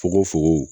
Fugoko fogo